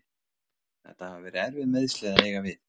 Þetta hafa verið erfið meiðsli að eiga við.